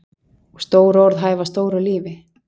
Og stór orð hæfa stóru lífi.